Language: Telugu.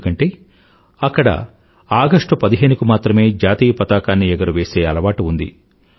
ఎందుకంటే అక్కడ ఆగస్టు పదిహేను కి మాత్రమే జాతీయపతాకాన్ని ఎగురవేసే అలవాటు ఉంది